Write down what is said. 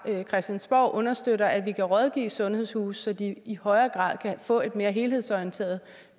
christiansborg understøtter at vi kan rådgive sundhedshuse så de i højere grad kan få et mere helhedsorienteret